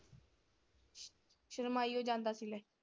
ਸ਼ਰਮਾਈ ਓ ਜਾਂਦਾ ਸੀ ਇਹ।